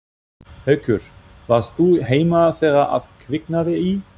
Haukur: Varst þú heima þegar að kviknaði í?